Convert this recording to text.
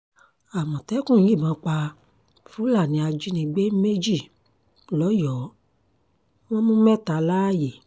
àmọ̀tẹ́kùn yìnbọn pa fúlàní ajínigbé méjì lọ́yọ̀ọ́ wọn mú mẹ́ta láàyè